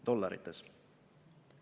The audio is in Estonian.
"Dollarites?"